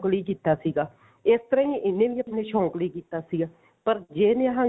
ਲਈ ਕੀਤਾ ਸੀਗਾ ਇਸ ਤਰ੍ਹਾਂ ਇਹਨੇ ਵੀ ਆਪਣੇ ਸ਼ੋਂਕ ਲਈ ਕੀਤਾ ਸੀਗਾ ਪਰ ਜਰ ਨਿਹੰਗ